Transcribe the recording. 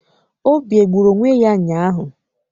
Obi egburu onwe ya ụnyaahụ?